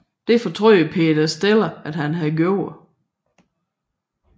Det fortrød Peter Steele at han havde gjort